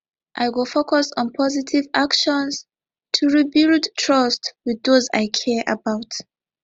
i go focus on positive actions to rebuild trust with those i care about